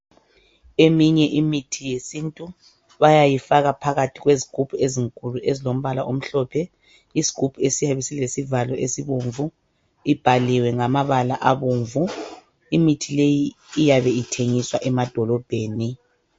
Eminye imithi yesintu bayayifaka phakathi kwezigubhu ezinkulu ezilombala omhlophe isgubhu esiyabe silesivalo esibomvu ibhaliwe ngama bala abomvu imithi leyi iyabe ithengiswa emadolobheni.